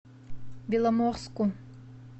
беломорску